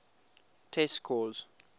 test scores